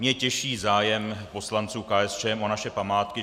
Mě těší zájem poslanců KSČM o naše památky.